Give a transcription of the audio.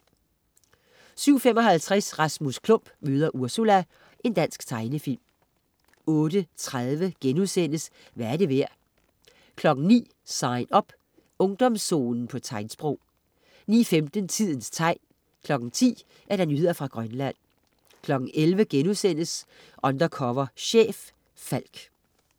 07.55 Rasmus Klump møder Ursula. Dansk tegnefilm 08.30 Hvad er det værd?* 09.00 Sign Up. Ungdomszonen på tegnsprog 09.15 Tidens tegn 10.00 Nyheder fra Grønland 11.00 Undercover chef. Falck*